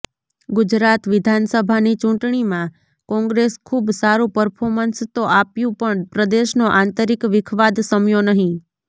ગુજરાત વિધાનસભાની ચૂંટણીમાં કોંગ્રેસ ખૂબ સારું પર્ફોમન્સ તો આપ્યું પણ પ્રદેશનો આંતરિક વિખવાદ સમ્યો નહિં